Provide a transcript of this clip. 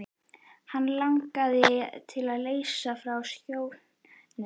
Hann langaði til að leysa frá skjóðunni.